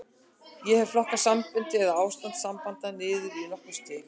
Ég hef flokkað sambönd, eða ástand sambanda, niður í nokkur stig.